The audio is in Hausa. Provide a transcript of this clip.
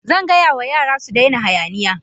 Zan gaya wa yara su daina hayaniya.